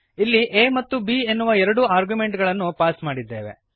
ಇಲ್ಲಿ a ಮತ್ತು b ಎನ್ನುವ ಎರಡು ಆರ್ಗ್ಯುಮೆಂಟ್ ಗಳನ್ನು ಪಾಸ್ ಮಾಡಿದ್ದೇವೆ